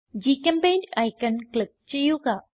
ഗ്ചെമ്പെയിന്റ് icon click ചെയ്യുക